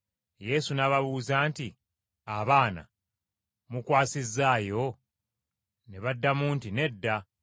Yesu n’ababuuza nti, “Abaana, mukwasizzaayo?” Ne baddamu nti, “Nedda.”